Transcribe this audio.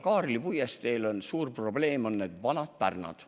Kaarli puiesteel on suur probleem need vanad pärnad.